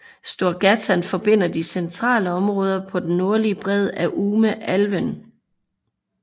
Storgatan forbinder de centrale områder på den nordlige bred af Ume älven